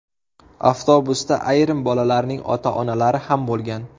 Avtobusda ayrim bolalarning ota-onalari ham bo‘lgan.